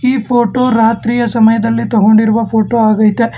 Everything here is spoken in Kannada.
ಈ ಫೋಟೋ ರಾತ್ರಿಯ ಸಮಯದಲ್ಲಿ ತಗೊಂಡಿರುವ ಫೋಟೋ ಆಗೈತೆ.